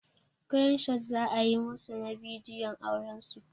Crane shot za a yi musu na bidiyon auran su.